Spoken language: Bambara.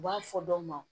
U b'a fɔ dɔ ma